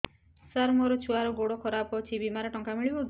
ସାର ମୋର ଛୁଆର ଗୋଡ ଖରାପ ଅଛି ବିମାରେ ଟଙ୍କା ମିଳିବ କି